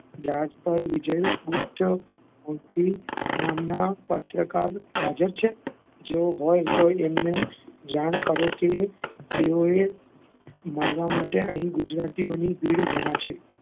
રાજપાલ વિજય ગુપ્ત ગુથી નામનાં, પત્રકાર હાજર છે? જો હોય તો એમને જાણ કરો કે તેઓએ મળવા માટે અહીં ગુજરાતીઓની ભીડ જમા છે.